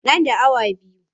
Nan da awa biyu.